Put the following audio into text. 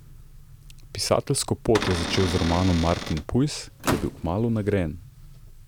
Pisateljsko pot je začel z romanom Martin Pujs, ki je bil kmalu nagrajen.